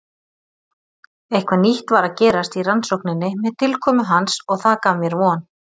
Eitthvað nýtt var að gerast í rannsókninni með tilkomu hans og það gaf mér von.